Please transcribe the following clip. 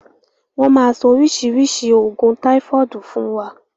Wọn máa sọ oríṣiríṣi oògùn táifọ̀dù fún wa